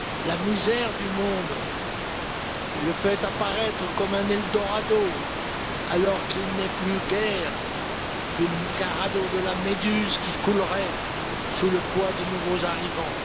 La misère du monde fait apparaître ce continent comme un eldorado, alors qu'il n'est plus guère qu'un radeau de la Méduse qui coulerait sous le poids de nouveaux arrivants.